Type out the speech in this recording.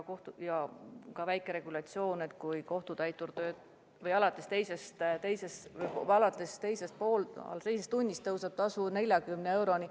On väike regulatsioon, et alates teisest tunnist tõuseb kohtutäituri tasu 40 euroni.